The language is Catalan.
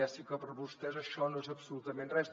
ja sé que per a vostès això no és absolutament res